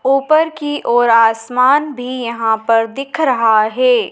ऊपर की ओर आसमान भी यहां पर दिख रहा है।